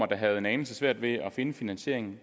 der havde en anelse svært ved at finde finansieringen